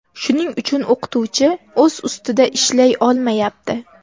Shuning uchun o‘qituvchi o‘z ustida ishlay olmayapti.